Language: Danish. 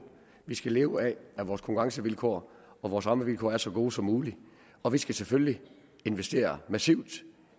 vi skal leve af at vores konkurrencevilkår og vores rammevilkår er så gode som muligt og vi skal selvfølgelig investere massivt